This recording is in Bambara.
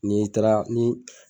N'i taara ni